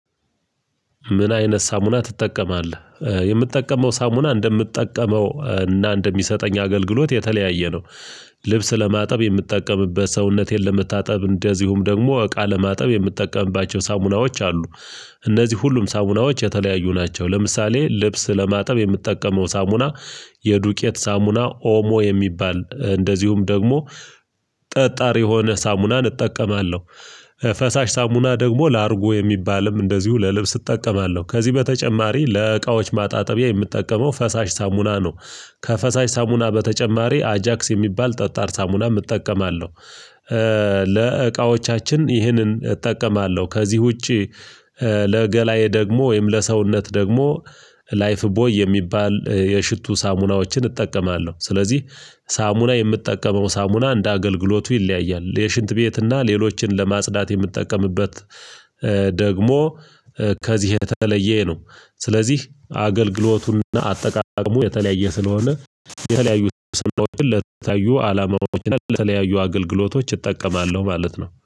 "ምን አይነት ሳሙና ትጠቀማለህ?" የምጠቀመው ሳሙና እንደምትጠቀመው እና እንደሚሰጠኝ አገልግሎት የተለያየ ነው። ልብስ ለማጠብ የምትጠቀምበት ሰውነቴን ለመታጠብ እንደዚሁም ደግሞ እቃ ለማጠብ የምትጠቀምባቸው ሳሙናዎች አሉ። እነዚህ ሁሉም ሳሙናዎች የተለያዩ ናቸው። ለምሳሌ ልብስ ለማጠብ የምጠቀመው ሳሙና የዱቄት ሳሙና ኦሞ የሚባል እንደዚሁም ደግሞ ጠጣሪ የሆነ ሳሙናን እጠቀማለሁ። ፈሳሽ ሳሙና ደግሞ ላርጎ የሚባልም እንደዚሁ ለልብስ እጠቀማለሁ። ከዚህ በተጨማሪ ለእቃዎች ማጣጠቢያ የምጠቀመው ፈሳሽ ሳሙና ነው። ከፈሳሽ ሳሙና በተጨማሪ አጃክስ የሚባል ጠጣር ሳሙና እጠቀማለሁ። ለእቃዎቻችን ይህንን እጠቀማለሁ። ከዚህ ውጪ ለገላዬ ደግሞ ወይም ለሰውነት ደግሞ ላይፍ ቦይ የሚባል የሽቱ ሳሙናዎችን እጠቀማለሁ። ስለዚህ ሳሙና የምጠቀመው ሳሙና እንደ አገልግሎቱ ይለያያል። የሽንት ቤትና ሌሎችን ለማጽዳት የምጠቀምበት ደግሞ ከዚህ የተለየ ነው። ስለዚህ አገልግሎቱንና አጠቃቀሙ የተለያየ ስለሆነ የተለያዩ ሳሙናዎችን ለተለያዩ አላማዎች እና ለተለያዩ አገልግሎቶች እጠቀማለሁ ማለት ነው።